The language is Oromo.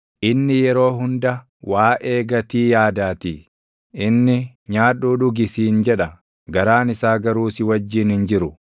inni yeroo hunda waaʼee gatii yaadaatii. Inni, “Nyaadhuu dhugi” siin jedha; garaan isaa garuu si wajjin hin jiru.